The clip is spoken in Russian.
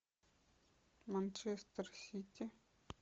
манчестер сити